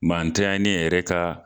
Maa ntanyalenw yɛrɛ ka